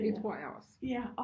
Det tror jeg også